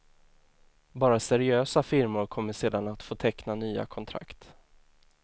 Bara seriösa firmor kommer sedan att få teckna nya kontrakt.